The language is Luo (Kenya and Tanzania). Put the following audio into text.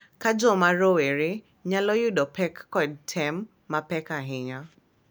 Ka joma rowere nyalo yudo pek kod tem mapek ahinya,